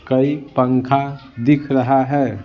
कई पंखा दिख रहा है।